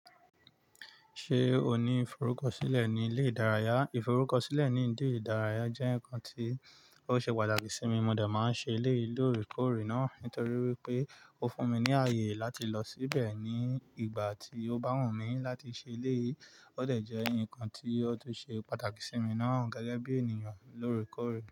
Ṣé o ní ìforúkọsílẹ̀ ní ilé ìdárayá? Ìforúkọsílẹ̀ ní ilé ìdárayá jẹ́ nǹkan tí ó ṣe pàtàkì sí mi. Mo de máa ń ṣe eléyi lórekore náà nítorí wípé ó fún mi ní ààyè láti lọ síbẹ̀ ní ìgbà tí ó bá wù mí láti ṣe eleyi. Ó de jẹ́ ǹnkan tí ó tun ṣe pàtàkì sí mi náà gẹ́gẹ́ bí ènìyàn lórekore.